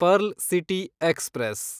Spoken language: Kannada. pearl city express